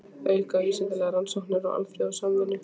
Að auka vísindalegar rannsóknir og alþjóðasamvinnu.